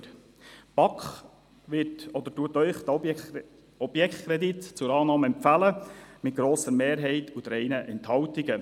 Die BaK empfiehlt Ihnen diesen Objektkredit zur Annahme, mit einer grossen Mehrheit und bei 3 Enthaltungen.